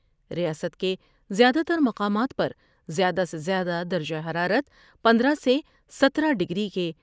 ریاست کے زیادہ تر مقامات پر زیادہ سے زیادہ درجہ حرارت پندرہ سے ستارہ ڈگری کے